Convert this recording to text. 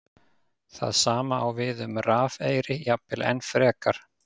Það sama á við um rafeyri, jafnvel enn frekar.